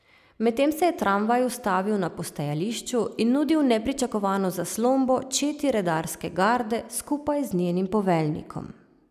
Medtem se je tramvaj ustavil na postajališču in nudil nepričakovano zaslombo četi redarske garde skupaj z njenim poveljnikom.